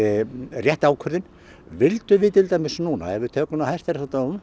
rétt ákvörðun vildum við til dæmis núna ef við tökum hæstaréttardóminn